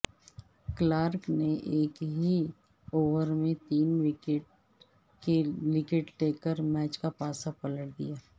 Clarke نے ایک ہی اوور میں تین وکٹیں لے کر میچ کا پانسہ پلٹ دیا